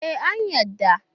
Ee, an yarda.